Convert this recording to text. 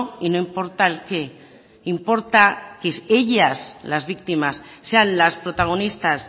y no importa el que importa que es ellas las víctimas sean las protagonistas